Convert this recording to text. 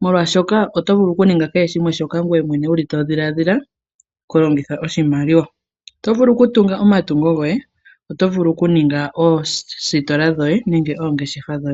molwaashoka oto vulu okuninga kehe shimwe shoka ngoye mwene wuli to dhiladhila okulongitha oshimaliwa, otovulu oku tunga omatungo goye, oto vulu oku ninga oositola dhoye, nenge oongeshefa dhoye.